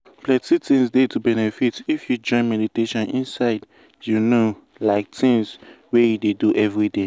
plenty things dey to benefit if you join meditation inside you know like tins wey you dey do everyday.